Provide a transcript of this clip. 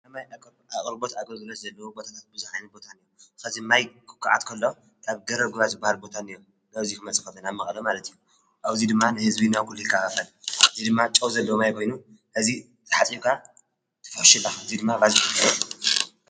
ኣማይ ኣቐልቦት ኣጐዝለት ዘለቦታታትብዙኃይንን ቦታንእዮ ኸዚ ማይ ክኰዓትከሎ ካብ ገረብጕባ ዝበሃር ቦታንዮ ናብዚይ ኽመጽፈተን ኣብ መቕሎ ማለት እዩ ኣውዙይ ድማ ንሕዝቢ ናውዂሉ ይካባፈን ዝይ ድማ ጨውዘዶማይ ኮይኑ ሕዚ ተሓጢኡጓ ትፈውሽባ እዙይ ድማ ባዝኹነሩ።